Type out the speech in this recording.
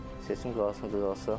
Seçim qarşısında duralsa.